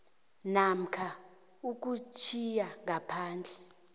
namkha ukutjhiya ngaphandle